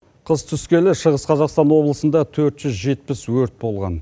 қыс түскелі шығыс қазақстан облысында төрт жүз жетпіс өрт болған